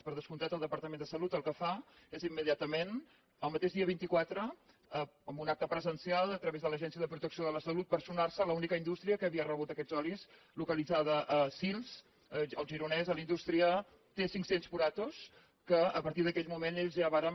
per descomptat el departament de salut el que fa és im mediatament el mateix dia vint quatre amb un acte pre sencial a través de l’agència de protecció de la salut personar se a l’única indústria que havia rebut aquests olis localitzada a sils al gironès a la indústria t cinc cents puratos que a partir d’aquell moment ells ja varen